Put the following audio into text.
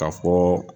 Ka fɔ